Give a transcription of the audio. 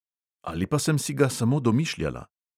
Ali pa sem si ga samo domišljala?